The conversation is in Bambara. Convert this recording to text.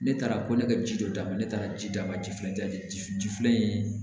Ne taara ko ne ka ji dɔ d'a ma ne taara ji d'a ma ji filɛ ji filɛ nin